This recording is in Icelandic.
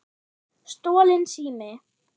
Stolinn sími